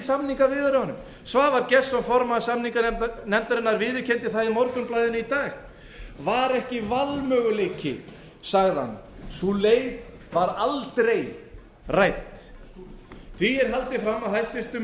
samningaviðræðum svavar gestsson formaður samninganefndarinnar viðurkenndi það í morgunblaðinu í dag var ekki valmöguleiki sagði hann sú leið var aldrei rædd því er haldið fram af hæstvirtum